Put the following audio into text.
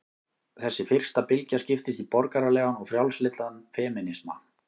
Þessi fyrsta bylgja skiptist í borgaralegan og frjálslyndan femínisma.